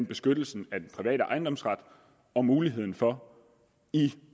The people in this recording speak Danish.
beskyttelsen af den private ejendomsret og muligheden for i